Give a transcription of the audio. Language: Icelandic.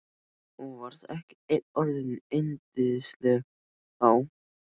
Þú varst ekki enn orðin yndisleg þá.